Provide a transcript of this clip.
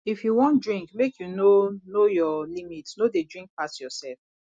if you wan drink make you know know your limit no dey drink pass yourself